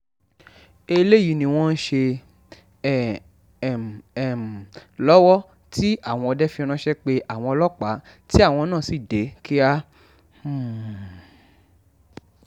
eléyìí ni wọ́n ń ṣe um lọ́wọ́ tí àwọn ọdẹ fi ránṣẹ́ pe àwọn ọlọ́pàá tí àwọn náà sì dé kíá um